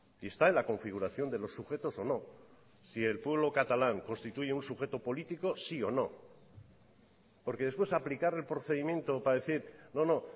y está en la configuración de los sujetos o no si el pueblo catalán constituye un sujeto político sí o no porque después aplicar el procedimiento para decir no no